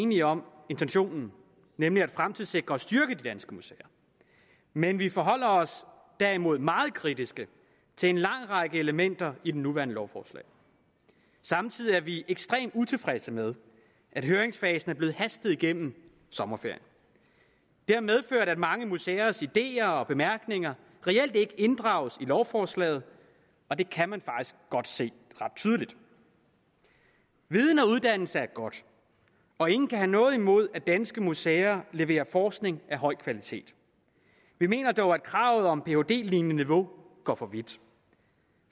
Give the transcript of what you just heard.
enige om intentionen nemlig at fremtidssikre og styrke de danske museer men vi forholder os derimod meget kritisk til en lang række elementer i det nuværende lovforslag samtidig er vi ekstremt utilfredse med at høringsfasen er blevet hastet igennem i sommerferien det har medført at mange museers ideer og bemærkninger reelt ikke inddrages i lovforslaget og det kan man faktisk godt se ret tydeligt viden og uddannelse er godt og ingen kan have noget imod at danske museer leverer forskning af høj kvalitet vi mener dog at kravet om phd lignende niveau går for vidt